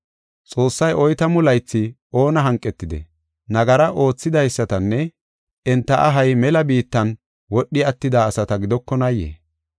Xoossay oytamu laythi oona hanqetidee? Nagara oothidaysatanne enta ahay mela biittan wodhi attida asata gidokonaayee?